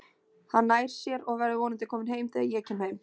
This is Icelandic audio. Hann nær sér og verður vonandi kominn heim þegar ég kem heim